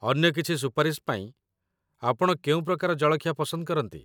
ଅନ୍ୟ କିଛି ସୁପାରିଶ ପାଇଁ, ଆପଣ କେଉଁ ପ୍ରକାର ଜଳଖିଆ ପସନ୍ଦ କରନ୍ତି?